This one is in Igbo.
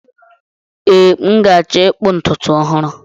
Ee, m ga-achọ ịkpụ ntutu ọhụrụ.